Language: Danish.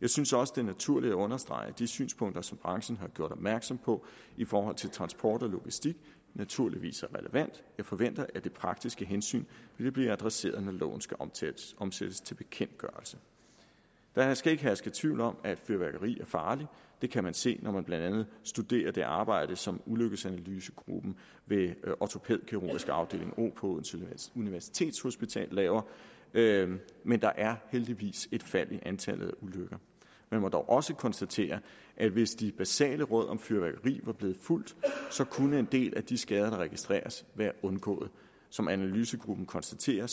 jeg synes også det er naturligt at understrege at de synspunkter som branchen har gjort opmærksom på i forhold til transport og logistik naturligvis er relevante jeg forventer at det praktiske hensyn vil blive adresseret når loven skal omsættes omsættes til bekendtgørelse der skal ikke herske tvivl om at fyrværkeri er farligt det kan man se når man blandt andet studerer det arbejde som ulykkesanalysegruppen ved ortopædkirurgisk afdeling o på odense universitetshospital laver laver men der er heldigvis et fald i antallet af ulykker man må dog også konstatere at hvis de basale råd om fyrværkeri var blevet fulgt kunne en del af de skader der registreres være undgået som analysegruppen konstaterer